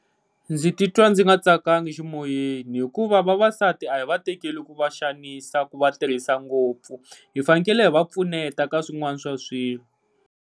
Ndzi ti twa ndzi nga tsakanga eximoyeni, hikuva vavasati a hi va tekile ku va xanisa ku va tirhisa ngopfu hi fanekele hi va pfuneta ka swin'wana swa swilo.